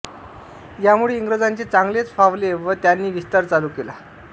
यामुळे इंग्रजांचे चांगलेच फावले व त्यांनी विस्तार चालू केला